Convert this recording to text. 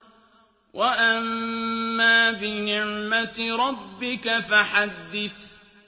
وَأَمَّا بِنِعْمَةِ رَبِّكَ فَحَدِّثْ